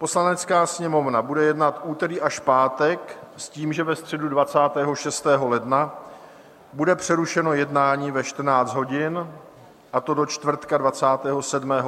Poslanecká sněmovna bude jednat úterý až pátek s tím, že ve středu 26. ledna bude přerušeno jednání ve 14 hodin, a to do čtvrtka 27. ledna do 9 hodin ráno.